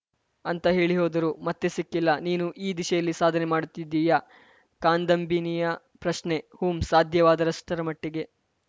ಅಂತ ಹೇಳಿ ಹೋದರು ಮತ್ತೆ ಸಿಕ್ಕಿಲ್ಲ ನೀನೂ ಈ ದಿಶೆಯಲ್ಲಿ ಸಾಧನೆ ಮಾಡುತ್ತಿದ್ದೀಯಾ ಕಾದಂಬಿನಿಯ ಪ್ರಶ್ನೆ ಹೂಂ ಸಾಧ್ಯವಾದಷ್ಟರ ಮಟ್ಟಿಗೆ